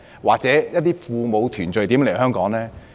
或與父母團聚的人又如何來港呢？